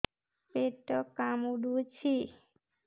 ପେଟ କାମୁଡୁଛି